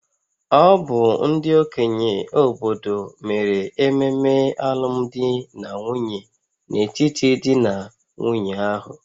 Ọ bụ ndị okenye obodo mere ememe alụmdi na nwunye n'etiti di na nwunye ahụ